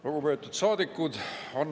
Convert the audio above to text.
Lugupeetud saadikud!